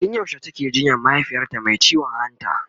tun yaushe take jinyan mahaifiyarta Mai ciwon hanta?